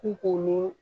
K'u kolen